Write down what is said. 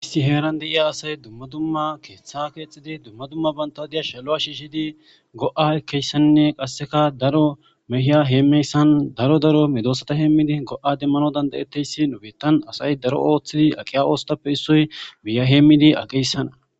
Isti heeran deiya asay dumma dumma keeththa keexxidi dumma dumma bantadiya shalo'a shiishidi go'a ekeyssannne qasseka daro mehiya heemmeyssan daro daro medoosata heemmidi go'a demmano dandayetteyssi nubettan asay daro ooththidi aqiya oostappe issoy biya heemmidi aqeyssanna.